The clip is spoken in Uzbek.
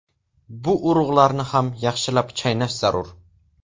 Bu urug‘larni ham yaxshilab chaynash zarur.